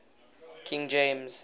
king james